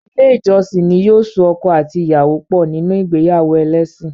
Ilé ìjọsìn ní yóò so ọkọ àti ìyàwó pọ̀ níní ìgbéyàwó ẹlésìn.